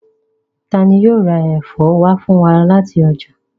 Tani yóò ra ẹfọ wa fun wa ni lati ọja?